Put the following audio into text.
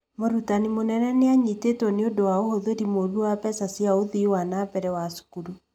Mũrutani mũnene nĩ anyitĩtwo nĩũndũ wa ũhũthĩri mũru wa mbeca cia ũthii wa nambere wa thukuru